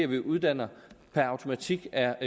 vi uddanner per automatik er